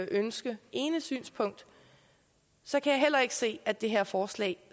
ønske det ene synspunkt så kan jeg heller ikke se at det her forslag